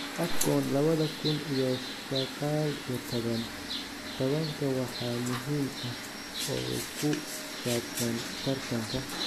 Afcon lawadha kun iyo saqal iyo tawan: Tawanka wax muhiim ah oo ku saabsan tartankaa